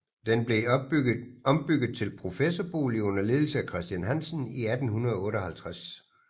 Den blev ombygget til professorbolig under ledelse af Christian Hansen i 1858